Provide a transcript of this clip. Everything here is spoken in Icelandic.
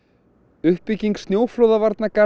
uppbygging snjóflóðavarnargarða